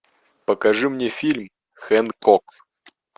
покажи мне фильм хэнкок